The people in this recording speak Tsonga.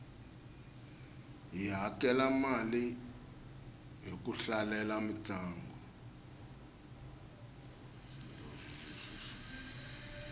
hi hakela mali ku hlalela mintlangu